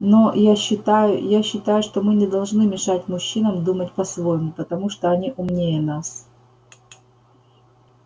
но я считаю я считаю что мы не должны мешать мужчинам думать по-своему потому что они умнее нас